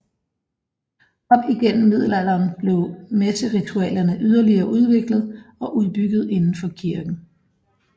Op igennem middelalderen blev messeritualerne yderligere udviklet og udbygget indenfor kirken